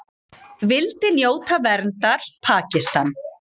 Vildi njóta verndar Pakistan